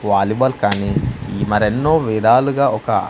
volleyball కాని ఇ మరెన్నో విదాలుగా ఒక--